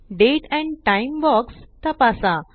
Date and time box तपासा